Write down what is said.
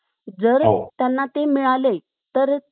जर त्यांना ते मिळाले तर